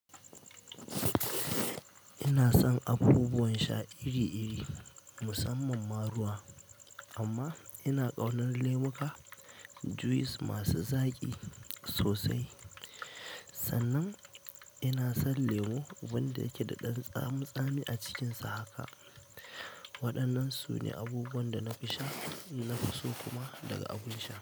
Ina son abubuwan sha iri-iri musamman ma ruwa amma ina ƙaunar lemuka, juice masu zaƙi sosai. Sannan ina son lemo wanda yake da ɗan tsami-tsami a cikinsa haka. Waɗannan sune abubuwan dana fi sha nafiso kuma daga abin sha.